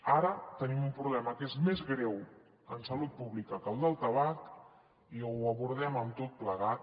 ara tenim un problema que és més greu en salut pública que el del tabac i o ho abordem tot plegat